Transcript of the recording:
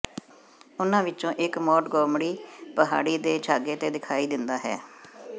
ਉਨ੍ਹਾਂ ਵਿੱਚੋਂ ਇਕ ਮੋਂਟਗੋਮਰੀ ਪਹਾੜੀ ਦੇ ਛਾਗੇ ਤੇ ਦਿਖਾਈ ਦਿੰਦਾ ਹੈ